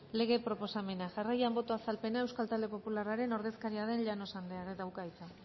lege proposamena jarraian boto azalpena euskal talde popularraren ordezkaria den llanos andreak dauka hitza